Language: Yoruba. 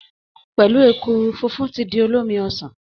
Pẹ̀lú ekuru, funfun ti di olómi ọsàn